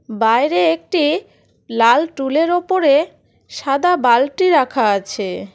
বাইরে একটি লাল টুল -এর ওপরে সাদা বালটি রাখা আছে।